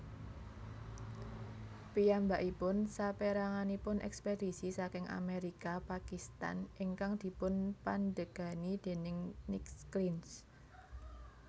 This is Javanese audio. Piyambakipun saperanganipun ekspedisi saking Amerika Pakistan ingkang dipunpandegani déning Nick Clinch